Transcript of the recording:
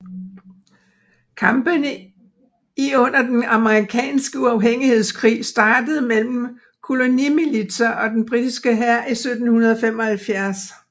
Kampene i under den amerikanske uafhængighedskrig startede mellem kolonimilitser og den britiske hær i 1775